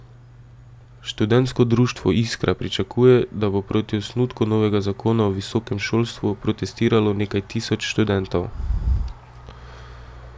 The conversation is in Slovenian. Študentsko društvo Iskra pričakuje, da bo proti osnutku novega zakona o visokem šolstvu protestiralo nekaj tisoč študentov.